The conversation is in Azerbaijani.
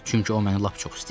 Çünki o məni lap çox istəyir.